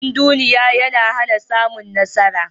Cindunduniya yana hana samun nasara.